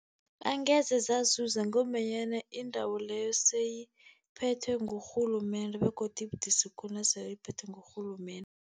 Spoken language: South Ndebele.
Angeze zazuza ngombanyana indawo leyo seyiphethwe ngurhulumende, begodu ibudisi khulu nasele iphethwe ngurhulumende.